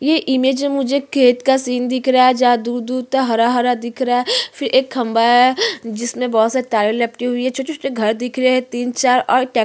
ये इमेज में मुझे खेत का सीन दिख रहा है जहा दूर-दूर तक हरा-हरा दिख रहा है फिर एक खम्भा है जिसमें बहुत-सी तारे लिपटी हुई हैं छोटे-छोटे घर दिख रहे हैं तीन चार और --